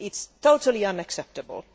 It is totally unacceptable.